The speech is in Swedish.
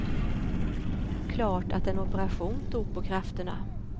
Klart att en operation tog på krafterna.